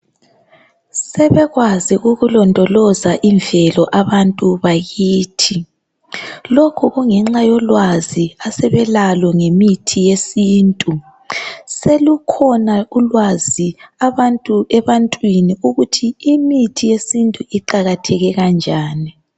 Sebekwazi ukulondoloza imvelo abantu bakithi lokhu kungenxa yolwazi asebelalo ngemithi yesintu selukhona ulwazi ebantwini ukuthi imithi yesintu iqakatheke kanjani